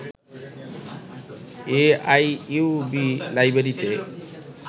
A I U B লাইব্রেরীতে